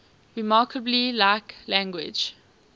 remarkably like language